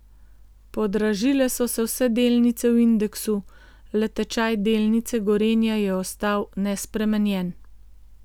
Podražile so se vse delnice v indeksu, le tečaj delnice Gorenja je ostal nespremenjen.